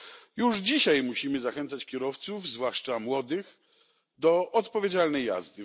A już dzisiaj musimy zachęcać kierowców, zwłaszcza młodych, do odpowiedzialnej jazdy.